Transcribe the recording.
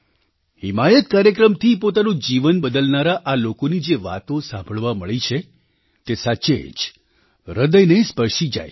હિમાયત કાર્યક્રમથી પોતાનું જીવન બદલનારા આ લોકોની જે વાતો સાંભળવા મળી છે તે સાચે જ હૃદયને સ્પર્શી જાય છે